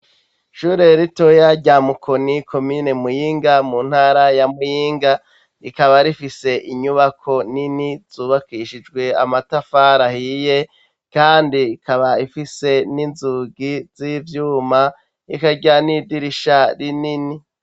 Ishure ritoya rya Mukoni komine Muyinga mu ntara ya Muyinga rikaba rifise inyubako nini zubakishijwe amatafari ahiye kandi ikaba ifise n'inzugi z'ivyuma ikagira n'idirisha rinini.